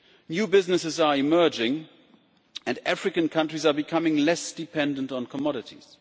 New businesses are emerging and African countries are becoming less dependent on commodities.